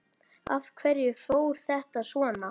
Af hverju fór þetta svona?